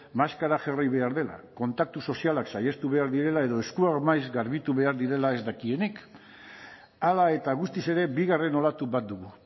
maskara jarri behar dela kontaktu sozialak saihestu behar direla edo eskuak maiz garbitu behar direla ez dakienik hala eta guztiz ere bigarren olatu bat dugu